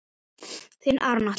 Þinn Aron Atli.